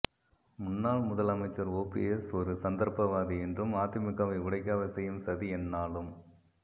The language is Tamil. முன்னாள் முதலமைச்சர் ஓபிஎஸ் ஒரு சந்தப்பவாதி என்றும் அதிமுக வை உடைக்க அவர் செய்யும் சதி எந்நாளும்